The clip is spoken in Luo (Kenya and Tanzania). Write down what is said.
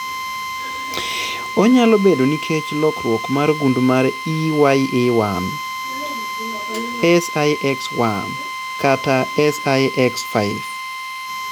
Onyalo bedo nikech lokruok mar gund mar EYA1, SIX1, kata SIX5.